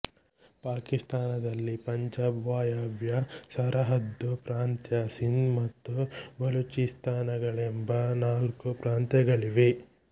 ಪಾಕಿಸ್ತಾನದಲ್ಲಿ ಪಂಜಾಬ್ ವಾಯವ್ಯ ಸರಹದ್ದು ಪ್ರಾಂತ್ಯ ಸಿಂಧ್ ಮತ್ತು ಬಲೂಚಿಸ್ತಾನಗಳೆಂಬ ನಾಲ್ಕು ಪ್ರಾಂತ್ಯಗಳಿವೆ